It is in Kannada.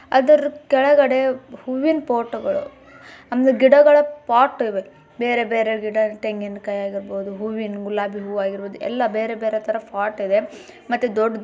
ಅದರ್ ಕೆಳಗಡೆ ಹೂವಿನ ಪಾಟ್ ಗಳು ಆಮೇಲೆ ಗಿಡಗಳ ಪಾಟ್ ಗಳಿವೆ ಬೇರೆ ಬೇರೆ ಗಿಡ ತೆಂಗಿನಕಾಯಿ ಆಗಿರಬಹುದು ಹೂವಿನ ಗುಲಾಬಿ ಹೂವಾಗಿರಬಹುದು ಎಲ್ಲ ಬೇರೆ ಬೇರೆ ಥರ ಪಾಟ್ ಇವೆ ಮತ್ತೆ ದೊಡ್ಡ--